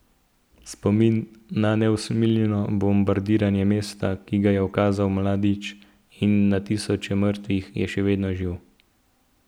Spomin na neusmiljeno bombardiranje mesta, ki ga je ukazal Mladić, in tisoče mrtvih je še vedno živ.